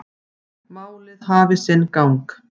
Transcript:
Málið hafi sinn gang.